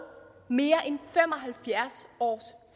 mere end fem og halvfjerds års